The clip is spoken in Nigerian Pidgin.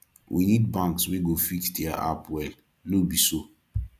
we need banks wey go fix diir apps well no be so